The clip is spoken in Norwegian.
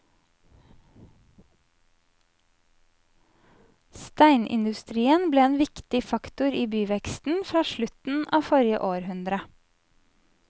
Steinindustrien ble en viktig faktor i byveksten fra slutten av forrige århundre.